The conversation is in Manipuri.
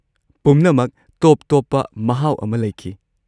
ꯄꯨꯝꯅꯃꯛ ꯇꯣꯞ-ꯇꯣꯞꯄ ꯃꯍꯥꯎ ꯑꯃ ꯂꯩꯈꯤ꯫